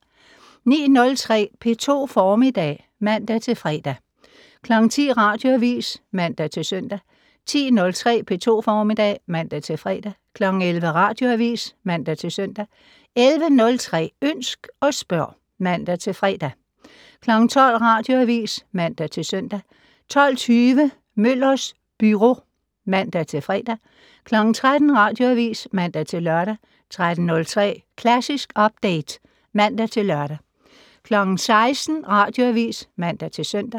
09:03: P2 Formiddag (man-fre) 10:00: Radioavis (man-søn) 10:03: P2 Formiddag (man-fre) 11:00: Radioavis (man-søn) 11:03: Ønsk og spørg (man-fre) 12:00: Radioavis (man-søn) 12:20: Møllers Byro (man-fre) 13:00: Radioavis (man-lør) 13:03: Klassisk Update (man-lør) 16:00: Radioavis (man-søn)